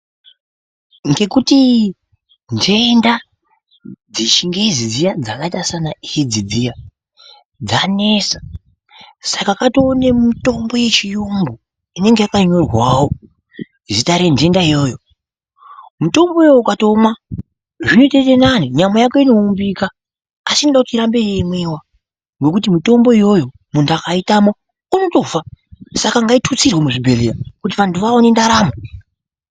Ngekuti nhenda dzechingezi dziyaa dzakaita sana edzi dziya dzanesa. Saka katova nemitombo yechiyungu inenge yakanyorwawo zita renhenda iyoyo. Mitombo iyoyo ukatoumwa zvinotoita nani nyama yako inoumbika. Asi inoda kuti irambe yeimwiwa ngekuti mitombo iyoyo muntu akaitama unotofa. Saka ngaitutsirwe muzvibhedhlera vantu vaone ndaramo.